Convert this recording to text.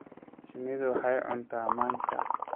Shinnidu waxay cuntaa manka.